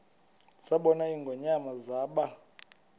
zabona ingonyama zaba